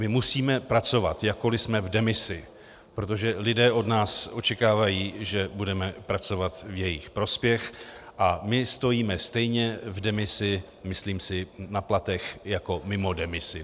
My musíme pracovat, jakkoli jsme v demisi, protože lidé od nás očekávají, že budeme pracovat v jejich prospěch, a my stojíme stejně v demisi, myslím si, na platech jako mimo demisi.